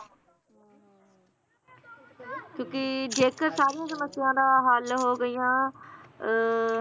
ਕਿਉਕਿ, ਜੇਕਰ ਸਾਰੀਆਂ ਸਮਸਿਆ ਦਾ ਹੱਲ ਹੋ ਗਈਆਂ ਅਹ